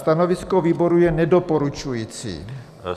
Stanovisko výboru je nedoporučující.